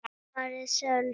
svaraði Sölvi.